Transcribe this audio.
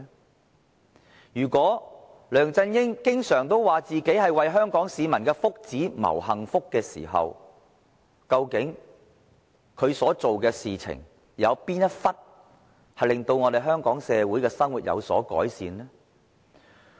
對於梁振英經常自詡為香港市民謀幸福時，究竟他所做的事情，有哪一部分令香港社會有所改善呢？